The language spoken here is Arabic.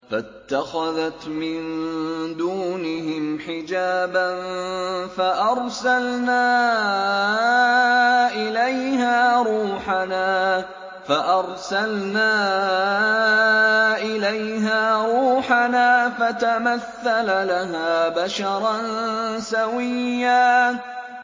فَاتَّخَذَتْ مِن دُونِهِمْ حِجَابًا فَأَرْسَلْنَا إِلَيْهَا رُوحَنَا فَتَمَثَّلَ لَهَا بَشَرًا سَوِيًّا